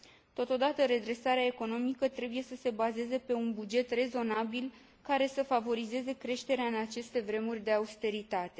Totodată, redresarea economică trebuie să se bazeze pe un buget rezonabil, care să favorizeze creșterea în aceste vremuri de austeritate.